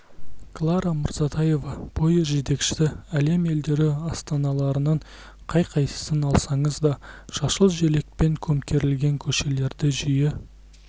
клара мырзатаева пойыз жетекшісі әлем елдері астаналарының қай қайсысын алсаңыз да жасыл желекпен көмкерілген көшелерді жиі